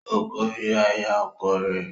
O kòrira ìyá ọkọ rẹ.